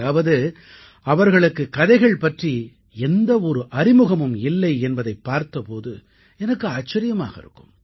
அதாவது அவர்களுக்குக் கதைகள் பற்றி எந்த ஒரு அறிமுகமும் இல்லை என்பதைப் பார்த்த போது எனக்கு ஆச்சரியமாக இருக்கும்